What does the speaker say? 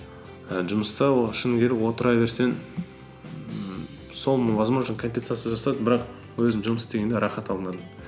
і жұмыста ол шыны керек отыра берсең ммм соны возможно компенсация жасады бірақ өзім жұмыс істегенде рахат алмадым